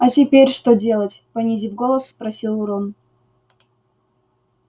а теперь что делать понизив голос спросил рон